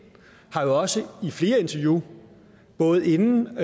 har jo også i flere interview både inden